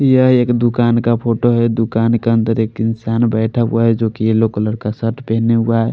यहाँ एक दूकान का फोटो है दूकान के अनादर एक इंसान बेठा हुआ है जो की येलो कलर का शर्ट पहना हुआ है।